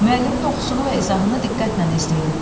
Müəllimin oxusunu və izahını diqqətlə izləyin.